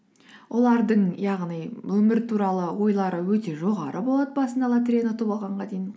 олардың яғни өмір туралы ойлары өте жоғары болады басында лотереяны ұтып алғанға дейін